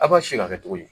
A b'a si ka kɛ cogo di